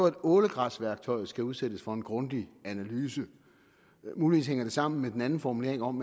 at ålegræsværktøjet skal udsættes for en grundig analyse muligvis hænger det sammen med den anden formulering om